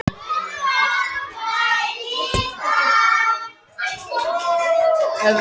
Þeir hugsuðu sig vel um en ypptu síðan öxlum.